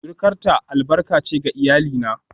surukarta albarka ce ga iyalina